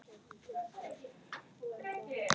Það var ekki verra.